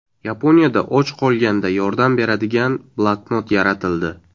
Yaponiyada och qolganda yordam beradigan bloknot yaratildi.